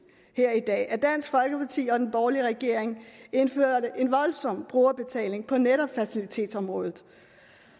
her i dag at dansk folkeparti og den borgerlige regering indførte en voldsom brugerbetaling på netop fertilitetsområdet